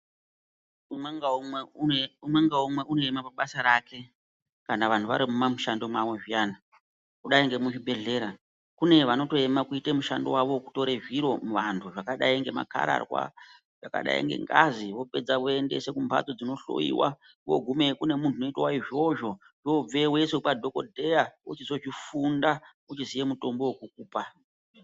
Umwe ngaumwe unoema pabasa rake kana vanhu varimumamishando mwavo zviyani. Kudayi nemuzvibhehlera kune vanotoema kuita mushando wavo wekutore zviro muvantu zvakadayi ngemakararwa, zvakadayi ngengazi vopedza voendese kumbatso dzinohloyiwa. Kwogumeyo kune. muntuwo unoite izvozvo, wobveyo woiswa kwadhokodheya wochizozvifunda ochiziya mutombo wekukupa.